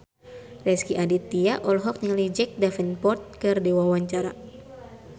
Rezky Aditya olohok ningali Jack Davenport keur diwawancara